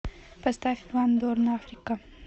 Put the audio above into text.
поставь иван дорн африка